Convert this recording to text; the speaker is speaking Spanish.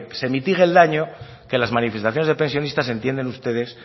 se mitigue el daño que las manifestaciones de pensionistas entienden ustedes